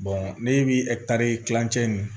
ne bi kilancɛ in